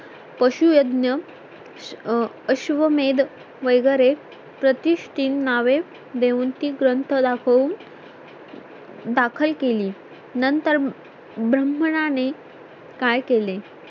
पशु यज्ञ अश्वमेध वगैरे प्रतिष्ठिन नावे देऊन ग्रंथ दाखवून दाखल केली नंतर ब्राहमनाने नें काय केलें